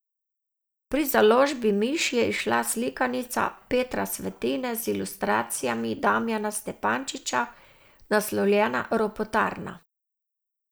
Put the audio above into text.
Pri založbi Miš je izšla slikanica Petra Svetine z ilustracijami Damijana Stepančiča, naslovljena Ropotarna.